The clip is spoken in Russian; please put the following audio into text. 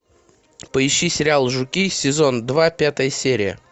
поищи сериал жуки сезон два пятая серия